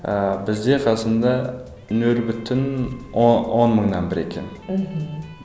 ыыы бізде қазақстанда нөл бүтін он мыңнан бір екен мхм